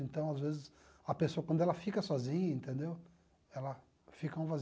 Então, às vezes, a pessoa, quando ela fica sozinha, entendeu, ela fica um vazio.